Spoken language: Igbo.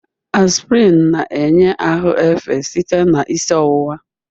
Aspirin na-enye ahụ efe site na isi ọwụwa.